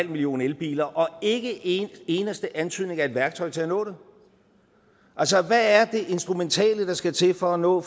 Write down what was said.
millioner elbiler og ikke én eneste antydning af et værktøj til at nå det altså hvad er det instrumentale der skal til for at nå